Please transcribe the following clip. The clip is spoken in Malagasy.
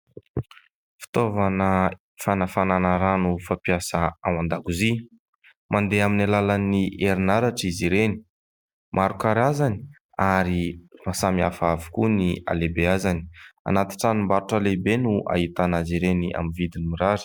Fitaovana fanafanana rano fampiasa ao an-dakozia. Mandeha amin'ny alalan'ny herinaratra izy ireny. Maro karazany ary samihafa avokoa ny halehibeazany. Anaty tranom-barotra lehibe no ahitana azy ireny amin'ny vidiny mirary.